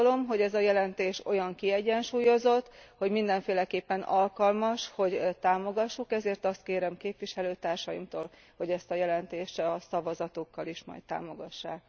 Azt gondolom, hogy ez a jelentés olyan kiegyensúlyozott, hogy mindenféleképpen alkalmas, hogy támogassuk, ezért azt kérem képviselőtársaimtól, hogy ezt a jelentést a szavazatukkal is majd támogassák.